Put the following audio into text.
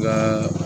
Nka